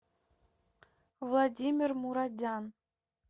владимир мурадян